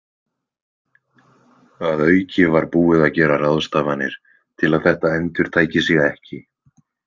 Að auki var búið að gera ráðstafanir til að þetta endurtæki sig ekki.